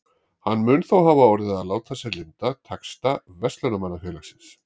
Hann mun þó hafa orðið að láta sér lynda taxta Verslunarmannafélagsins.